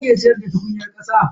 A ina ake siyarda tukunyar kasa.